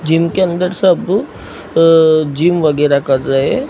Gym के अंदर सब अअ जिम वगैरह कर रहे हैं।